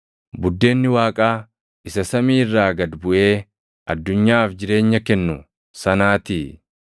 Buddeenni Waaqaa isa samii irraa gad buʼee addunyaaf jireenya kennu sanaatii.”